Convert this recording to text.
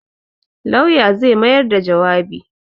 Lauya zai mayar da jawabi.